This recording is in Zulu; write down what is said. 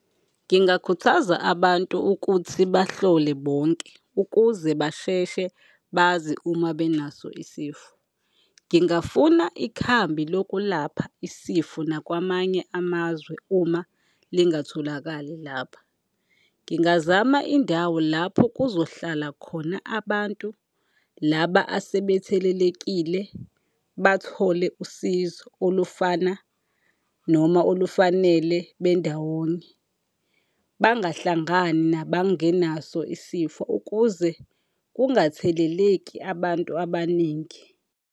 Ngingakhuthaza abantu ukuthi bahlole bonke ukuze basheshe bazi uma benaso isifo. Ngingafuna ikhambi lokulapha isifo nakwamanye amazwe uma lingatholakali lapha. Ngingazama indawo lapho kuzohlala khona abantu laba asebethelelekile, bathole usizo olufana noma olufanele bendawonye, bangahlangani nabangenaso isifo ukuze kungatheleleki abantu abaningi.